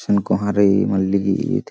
झीन कोंहा रइई मल्ली ईद।